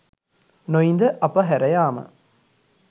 නොඉඳ අප හැර යාම